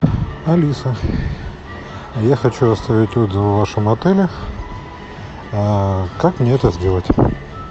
алиса я хочу оставить отзыв о вашем отеле как мне это сделать